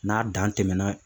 N'a dan tɛmɛna